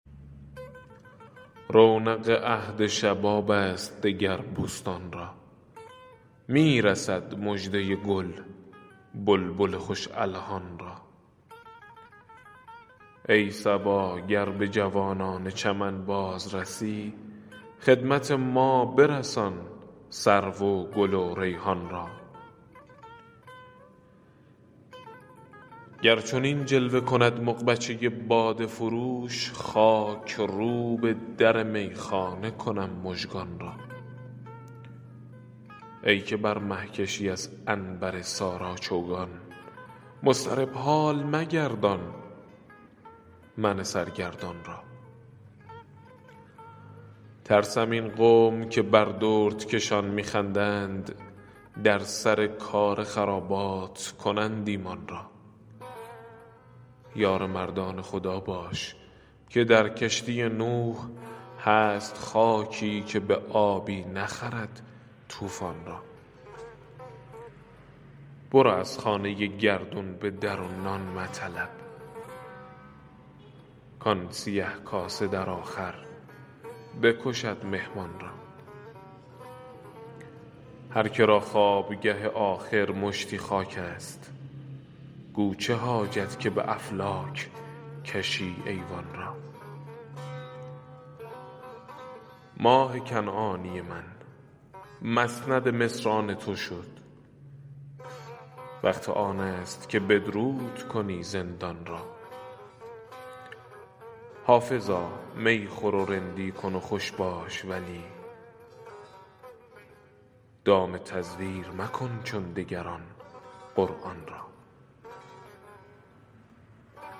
رونق عهد شباب است دگر بستان را می رسد مژده گل بلبل خوش الحان را ای صبا گر به جوانان چمن باز رسی خدمت ما برسان سرو و گل و ریحان را گر چنین جلوه کند مغبچه باده فروش خاک روب در میخانه کنم مژگان را ای که بر مه کشی از عنبر سارا چوگان مضطرب حال مگردان من سرگردان را ترسم این قوم که بر دردکشان می خندند در سر کار خرابات کنند ایمان را یار مردان خدا باش که در کشتی نوح هست خاکی که به آبی نخرد طوفان را برو از خانه گردون به در و نان مطلب کآن سیه کاسه در آخر بکشد مهمان را هر که را خوابگه آخر مشتی خاک است گو چه حاجت که به افلاک کشی ایوان را ماه کنعانی من مسند مصر آن تو شد وقت آن است که بدرود کنی زندان را حافظا می خور و رندی کن و خوش باش ولی دام تزویر مکن چون دگران قرآن را